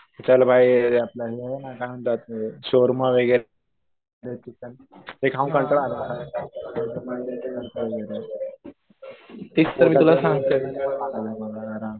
चल भाई ते आहे आपलं काय म्हणतात त्याला शोर्मा वगैरे ते चिकन ते खाऊन कंटाळा आला मला